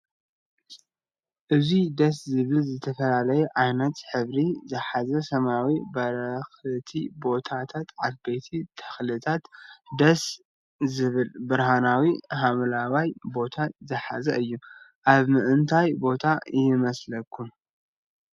ኣዝዩ ደስ ዝብል ዝተፈላለዩ ዓይነት ሕብሪ ዝሓዘ ሰማይን በረክቲ ቦታታትን ዓበይቲ ተክልታትን ደሰ ዝብል ብርሃናዊ ሓምለዋይ ቦታን ዝሓዘን እዩ። ኣብ ምንታይ ቦታ ይመስለኩም?